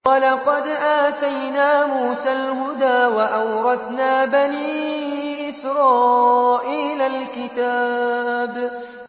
وَلَقَدْ آتَيْنَا مُوسَى الْهُدَىٰ وَأَوْرَثْنَا بَنِي إِسْرَائِيلَ الْكِتَابَ